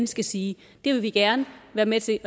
skal sige det vil vi gerne være med til